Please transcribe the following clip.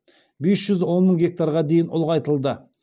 бес жүз он мың гектарға дейін ұлғайтылды